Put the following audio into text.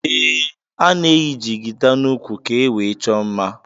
Ee ana eyi jigida na úkwú ka ewee chọọ mmá.